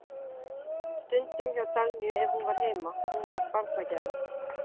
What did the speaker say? Stundum hjá Dagnýju ef hún var heima, hún var barnagæla.